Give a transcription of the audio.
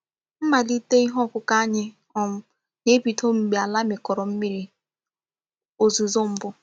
Mmálite ihe ọkụ́kụ́ anyị um na-ebido mgbe àlà mikọrọ mmírí òzùzó mbụ.